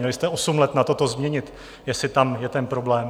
Měli jste osm let na to, to změnit, jestli tam je ten problém.